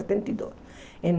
Setenta e dois em